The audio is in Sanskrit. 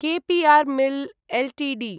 कॆ पि आर् मिल् एल्टीडी